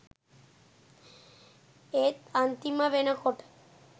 ඒත් අන්තිම වෙනකොට